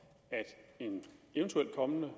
at en eventuel kommende